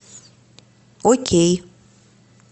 окей